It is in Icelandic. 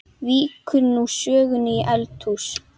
Víkur nú sögunni í eldhús.